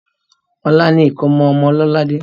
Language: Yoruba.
Ọ̀la ni ìkómọ ọmọ Lọ́ládé.